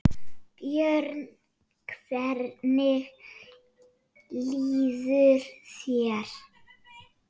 Björn: Hvernig líður þér?